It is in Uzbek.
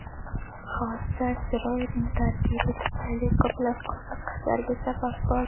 Hodisa asteroidning tarkibi tufayli ko‘plab qiziqishlarga sabab bo‘ldi.